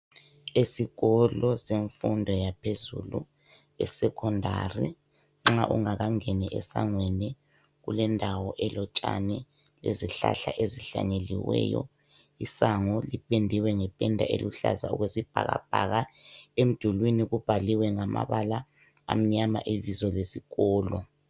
Esikolo semfundo yaphezulu, eSecondary, nxa ungakangeni esangweni kulendawo elotshani lezihlahla ezihlanyeliweyo. Isango lipendiwe ngependa eluhlaza okwesibhakabhaka. Emdulini kubhaliwe ngamabala amnyama ibizo lesikolo.